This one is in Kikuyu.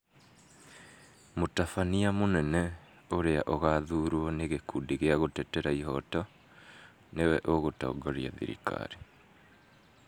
Mũtabania munene, ũrĩa ũgaathuurwo nĩ gĩkundi gĩa gũtetera ihoto , nĩwe ũgũtongoria thirikari.